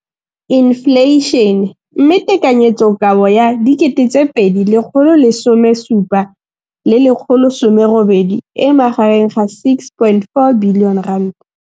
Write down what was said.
Infleišene, mme tekanyetsokabo ya 2017 le 1018 e magareng ga R6.4 bilione.